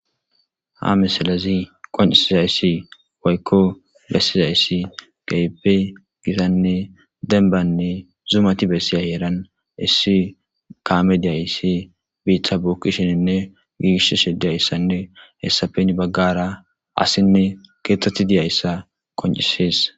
Ha misalazi qon'isizayssi woykko gessizayssi geepe gizanne denbanne zumati bessiyaheeran issi kamediyayssi biitha buukishininne giiish shi diyayssanne hessapeni baggara asinne keeththethi diyayssa qon'isees.